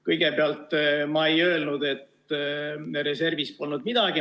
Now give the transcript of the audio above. Kõigepealt, ma ei öelnud, et reservis polnud midagi.